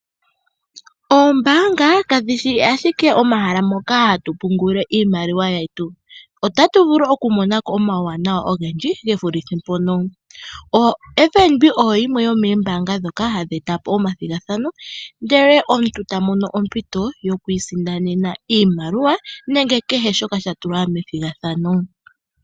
Oombaanga kadhishi ashike omahala moka hatu pungululile iimaliwa yetu. Otatu vulu okumona ko omauwanawa ogendji gevulithe mpoka. OFNB oyo yimwe yomoombaanga ndhoka hadhi etapo omathigathano, ndele omuntu tamono ompito yokwiisindanena iimaliwa nenge kehe shoka shatulwa methigathano.